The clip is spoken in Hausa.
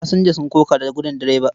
Fasinja sun koka da gudin direba.